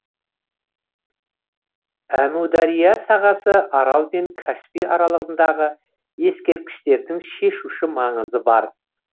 әмудария сағасы арал мен каспий аралығындағы ескерткіштердің шешуші маңызы бар